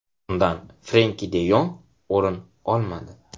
Undan Frenki de Yong o‘rin olmadi.